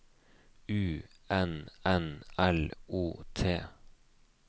U N N L O T